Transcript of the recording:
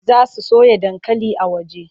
Za su soya dankali a waje.